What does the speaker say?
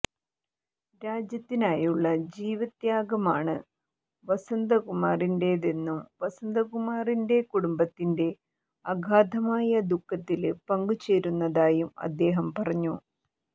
രാജ്യത്തിനായുള്ള ജീവത്യാഗമാണ് വസന്തകുമാറിന്റേതെന്നും വസന്തകുമാറിന്റെ കുടംബത്തിന്റെ അഗാധമായ ദുഖത്തില് പങ്കുചേരുന്നതായും അദ്ദേഹം പറഞ്ഞു